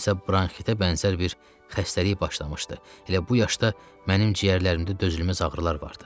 Nəsə bronxitə bənzər bir xəstəlik başlamışdı, elə bu yaşda mənim ciyərlərimdə dözülməz ağrılar vardı.